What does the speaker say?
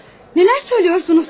Nələr söyləyirsəniz siz?